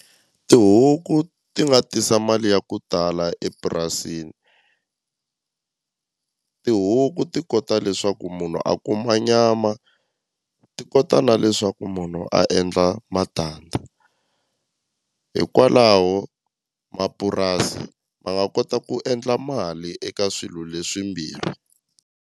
Tihuku ti nga tisa mali ya ku tala epurasini tihuku ti kota leswaku munhu a kuma nyama ti ko na leswaku munhu a endla matandza hikwalaho mapurasi ma nga kota ku endla mali eka swilo leswimbirhi.